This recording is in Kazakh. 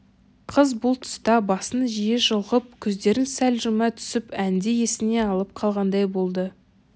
қыз бұл тұста басын жиі шұлғып көздерін сәл жұма түсіп әнді есіне алып қалғандай болды